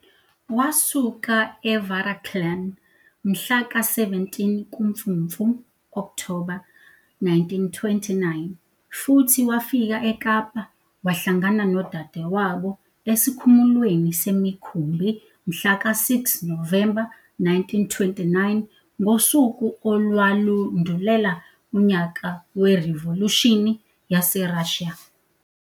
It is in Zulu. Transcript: Wasuka eVaraklan mhla ka 17 kuMfumfu, Okthoba, 1929 futhi wafika eKapa wahlangana nodadewabo esikhumulweni semikhumbi mhlaka 6 Novemba 1929, ngosuku olwalundulela unyaka weRivolushini YaseRussia.